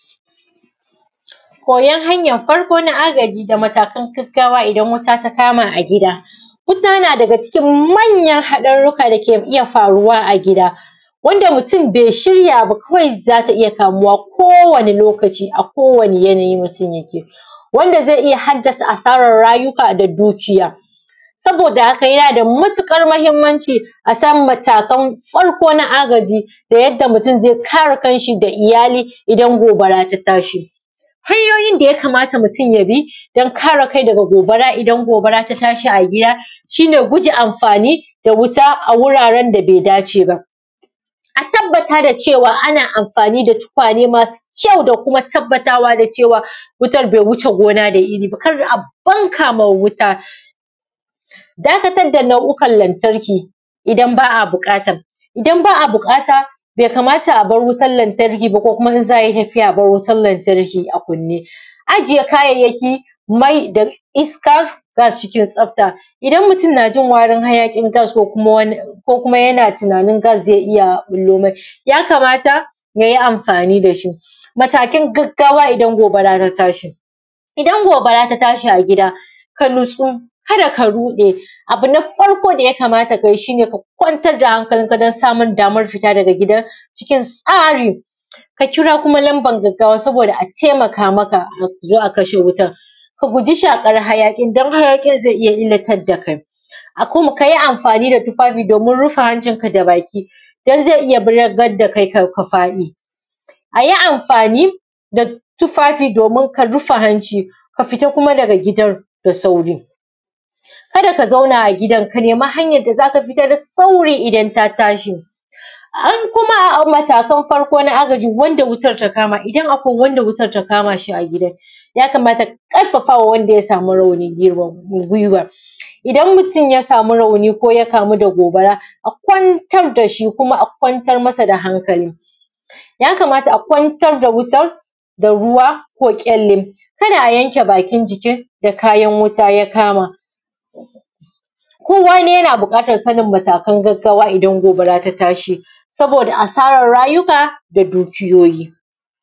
Koyan hanyan farko na agaji da matakan gaggawa, idan wuta ta kama a gida. Wuta na daga cikin manayan haɗarurra da ke iya faruwa a gida, wanda mutum bai shirya ba kawai za ta iya kamuwa kowane lokaci a kowane yanayi mutum yake. Wanda zai iya haddasa asaran rayuka da dukiya. Saboda haka yana da matuƙar mahimmanci a san matakan farko na agaji, da yadda mutum zai kare kanshi da iyali idan gobara ta tasahi. Hanyoyin da mum yakamata ya bi dan kare kai daga gobara, idan gobara ta tashi a gida. shi ne guje amfani da wuta a wuraren da bai dace ba. A tabbata cewa ana amfani da tukwane masu kyau da kuma tabbatawa da cewa wutan bai wuce gona da iri ba, kar a banka ma wuta. Dakatar da nau’ukan lantarki idan ba a buƙata, idan ba buƙata bai kamata a bar wutan lantarki ba, ko kuma idan za a yi tafiya a bar wutan lantarki ba a kunne. Ajiye kayayyaki mai da iska, sa shi cikin tsafta, idan mutum na ji warin hayaƙin gas ko wani ko kuma yana tunain gas zai iya ɓullo masa, yakamata ya yi amfani da shi. Matakan gaggawa idan gobara ta tashi, idan gobara ta tashi a gida ka nutsu kada ka ruɗe. Abu na farko da yakamata ka yi shi ne ka kwantar da hankalinka don samun damar fita daga gidan cikin tsari. Ka kuma lamban gaggawa saboda a taimaka maka a zo a kasha wutan. Ka guji shaƙar hayaƙin dan haƙin zai iya illatar da kai, a kuma ka yi amfani da tufafi domin rufe hancinka da baki dan zai iya balagan da kai ka faɗi. A yi amfani da tufafi domin ka rife hanci, ka fita kuma daga gidan da sauri. A yi amfani da tufafi domin ka rife hanci, ka fita kuma daga gidan da sauri. An kuma matakan farko na agaji wanda wuta ta kama, idan wanda wutar ta kama shi a gida. Yakamata ka ƙarfafa ma wanda ya sami rauni gwuiwa. Idan mutum ya sami rauni ko ya kamu da gobara a kwantar da shi kuma a kwantar asa da hankali. Yakamata a kwantar da wutan da wura ko ƙyalle, kada a yanken bakin jiki da kayanwuta ta kama. Kowane yana buƙatan sanin matakan gaggawa idan gobara ta tashi, saboda asaran rayuka da dukiyoyi.